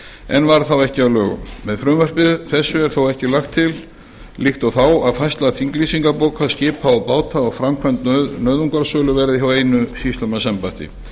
en varð þá ekki að lögum með frumvarpi þessu er þó ekki lagt til líkt og þá að færsla þinglýsingarbóka skipa og báta og framkvæmd nauðungarsölu verði hjá einu sýslumannsembætti